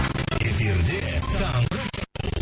эфирде таңғы шоу